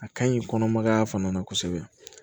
A ka ɲi kɔnɔmaya fana na kosɛbɛ